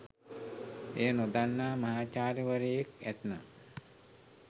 එය නොදන්නා මහාචාර්යවරයෙක් ඇත්නම්